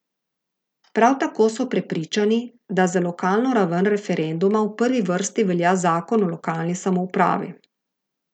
Prav tako so prepričani, da za lokalno raven referenduma v prvi vrsti velja Zakon o lokalni samoupravi.